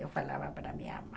Eu falava para minha mãe.